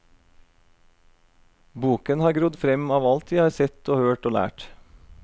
Boken har grodd frem av alt jeg har sett og hørt og lært.